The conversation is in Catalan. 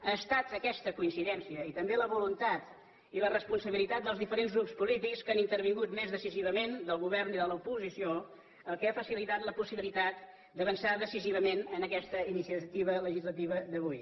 ha estat aquesta coincidència i també la voluntat i la responsabilitat dels diferents grups polítics que han intervingut més decisivament del govern i de l’oposició el que ha facilitat la possibilitat d’avançar decisivament en aquesta iniciativa legislativa d’avui